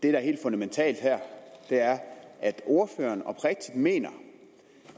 er helt fundamentalt her er at ordføreren oprigtigt mener